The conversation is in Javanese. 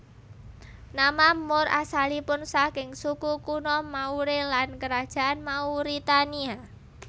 Nama Moor asalipun saking suku kuno Maure lan Kerajaan Mauritania